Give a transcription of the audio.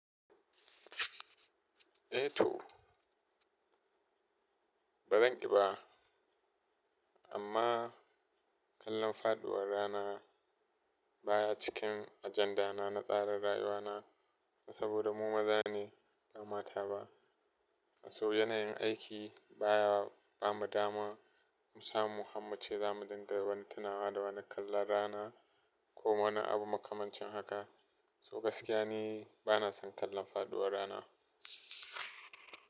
Eh to. Ba zan ƙi ba amma kallon faɗuwar rana baya cikin ajanda na na tsarin rayuwa na saboda mu maza ne ba mata ba. So yanayin aiki baya bamu dama mu samu hammu ce za mu dinga wani tunawa da wani kallon rana ko wani abu makamancin haka. So gaskiya ne bana son kallon faduwar rana.